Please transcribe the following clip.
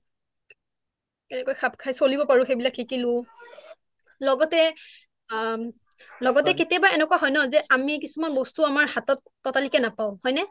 কেনেকৈ খাপ খাই চলিব পৰিলোঁ তাকে শিকিলোঁ লগতে আন লগতে কেতিয়াবা এনেকুৱা হয় ন আমি কিছুমান বস্তু আমাৰ হাতত ততালিকে নাপাওঁ হয় নে